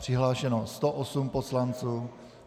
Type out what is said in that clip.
Přihlášeno 108 poslanců.